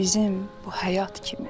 Bizim bu həyat kimi.